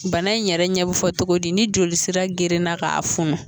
Bana in yɛrɛ ɲɛ bi fɔ togodi ni jolisira gerenna k'a funu